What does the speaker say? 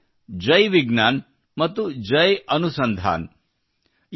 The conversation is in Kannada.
ಅದೆಂದರೆ ಜೈ ವಿಜ್ಞಾನ್ ಮತ್ತು ಜೈ ಅನುಸಂಧಾನ್